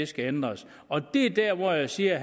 skal ændres og det er der hvor jeg siger at